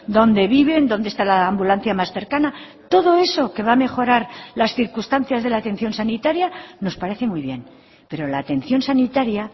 dónde viven dónde está la ambulancia más cercana todo eso que va a mejorar las circunstancias de la atención sanitaria nos parece muy bien pero la atención sanitaria